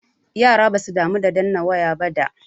Yara basu damu da danna waya ba da.